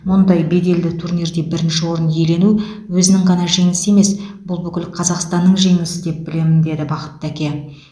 мұндай беделді турнирде бірінші орын иелену өзінің ғана жеңісі емес бұл бүкіл қазақстанның жеңісі деп білемін деді бақытты әке